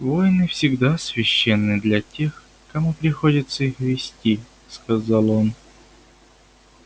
войны всегда священны для тех кому приходится их вести сказал он